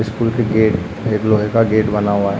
School के gate लोहे का गेट बना हुआ हैं।